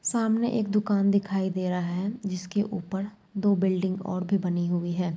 सामने एक दुकान दिखाई दे रहा है जिसके ऊपर दो बिल्डिंग और भी बनी हुवी है ।